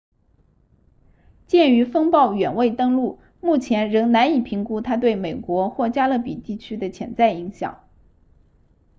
鉴于风暴远未登陆目前仍难以评估它对美国或加勒比地区的潜在影响